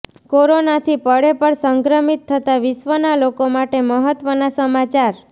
કોરોનાથી પળેપળ સંક્રમિત થતા વિશ્વના લોકો માટે મહત્વના સમાચાર